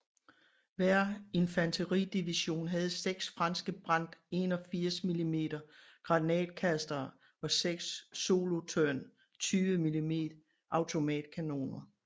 Hver infanteridivision havde 6 franske Brandt 81 mm granatkastere og 6 Solothurn 20 mm automatkanoner